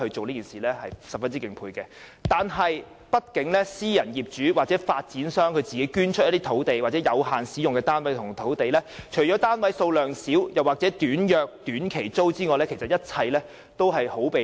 然而，由於畢竟要靠私人業主或發展商捐出有限期使用的單位或土地，除了單位數量少又或租約短，一切也相當被動。